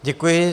Děkuji.